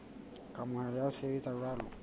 kamohelo ya ho sebetsa jwalo